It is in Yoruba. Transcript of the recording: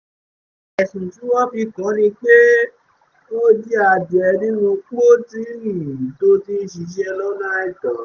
ẹ̀sùn tí wọ́n fi kàn án ni pé ó jí adìẹ nínú pọ́tìrì tó ti ń ṣiṣẹ́ lọ́nà àìtọ́